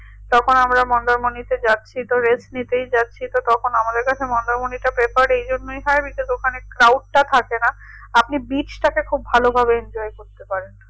তখন আমরা মন্দারমণিতে যাচ্ছি তো rest নিতেই যাচ্ছি তো তখন আমাদের কাছে মন্দারমণিটা prefer এই জন্যই হয় because ওখানে crowd টা থাকে না আপনি beach টাকে খুব ভালোভাবে enjoy করতে পারেন